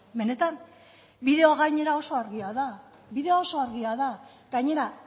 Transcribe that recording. benetan bideoa gainera oso argia da bideoa oso argia da gainera